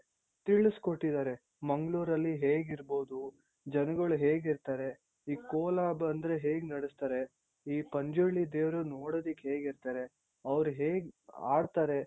ತಿಳುಸ್ಕೊಟ್ಟಿದಾರೆ ಮಂಗ್ಳೂರ್ ಅಲ್ ಹೇಗಿರ್ಬೋದು ಜನಗಳು ಹೇಗಿರ್ತಾರೆ ಈ ಕೋಲ ಬಂದ್ರೆ ಹೇಗ್ ನಡುಸ್ತಾರೆ ಈ ಪಂಜುರ್ಲಿ ದೇವ್ರು ನೋಡೋದಿಕ್ಕ್ ಹೆಂಗಿರ್ತಾರೆ ಅವ್ರು ಹೇಗ್ ಆಡ್ತಾರೆ .